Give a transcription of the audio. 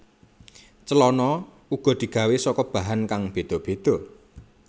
Celana uga digawé saka bahan kang béda béda